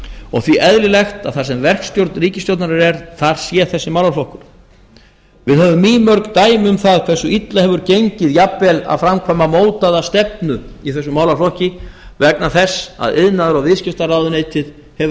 og því eðlilegt að þar sem verkstjórn ríkisstjórnarinnar er þar sé þessi málaflokkur við höfum mýmörg dæmi um það hversu illa hefur gengið jafnvel að framkvæma mótaða stefnu í þessum málaflokki vegna þess að iðnaðar og viðskiptaráðuneytið hefur